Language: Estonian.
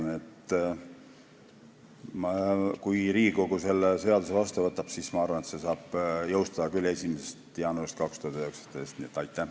Nii et kui Riigikogu selle seaduse vastu võtab, siis ma arvan, et see saab küll 1. jaanuaril 2019 jõustuda.